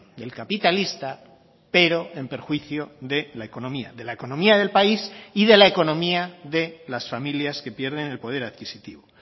del capitalista pero en perjuicio de la economía de la economía del país y de la economía de las familias que pierden el poder adquisitivo